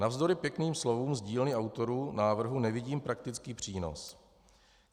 Navzdory pěkným slovům z dílny autorů návrhu nevidím praktický přínos.